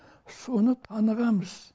соны танығамыз